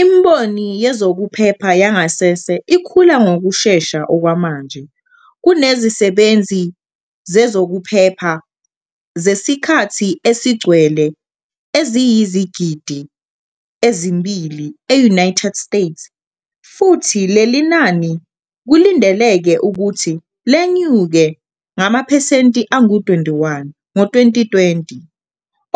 Imboni yezokuphepha yangasese ikhula ngokushesha okwamanje kunezisebenzi zezokuphepha zesikhathi esigcwele eziyizigidi ezimbili e-United States futhi leli nani kulindeleke ukuthi lenyuke ngamaphesenti angu-21 ngo-2020,